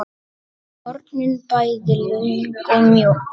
hornin bæði löng og mjó.